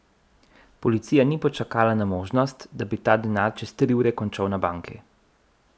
Policija ni počakala na možnost, da bi ta denar čez tri ure končal na banki.